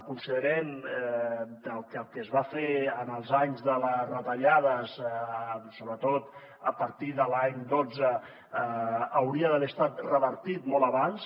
considerem que el que es va fer en els anys de les retallades sobretot a partir de l’any dotze hauria d’haver estat revertit molt abans